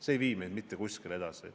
See ei vii meid mitte kuskile edasi.